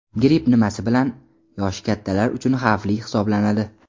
Gripp nimasi bilan yoshi kattalar uchun xavfli hisoblanadi?